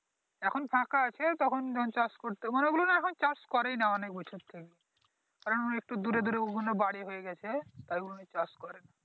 এখন ফাঁকা আছে তখন জমি চাষ করতো মানে ঐগুলো নাহ মানে এখন চাষ করেই নাহ অনেক বছর থেকে কারন একটু দূরে দূরে ওইগুলো বাড়ী হয়ে গেছে তাই ওইগুলো চাষ করে না।